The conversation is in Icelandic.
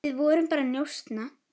Við vorum bara að njósna,